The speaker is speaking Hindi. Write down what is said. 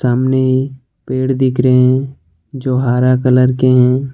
सामने ही पेड़ दिख रहे हैं जो हरा कलर के है।